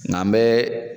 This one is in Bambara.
Nga an be